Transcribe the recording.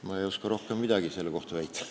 Ma ei oska rohkem midagi selle kohta väita.